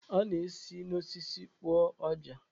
A na-esi n'osisi kpụọ ọjà.